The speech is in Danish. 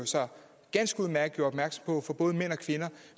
ganske udmærket gjorde opmærksom på for både mænd og kvinder